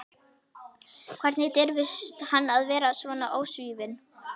Hvernig dirfist hann að vera svona ósvífinn?